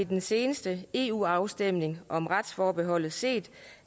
den seneste eu afstemning om retsforbeholdet set